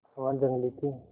वह जंगली थी